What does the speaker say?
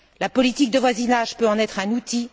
La politique de voisinage peut en être un outil.